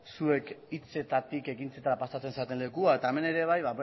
zuek hitzetatik ekintzetara pasatzen zareten lekua eta hemen ere bai